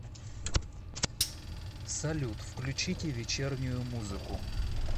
салют включите вечернюю музыку